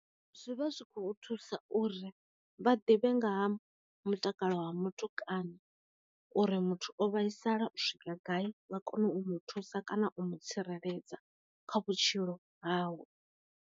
Zwivha zwikho u thusa uri vha ḓivhe nga ha mutakalo wa muthu kana, uri muthu o vhaisala u swika gai vha kone u mu thusa kana u mu tsireledza kha vhutshilo hau.